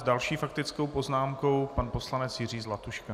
S další faktickou poznámkou pan poslanec Jiří Zlatuška.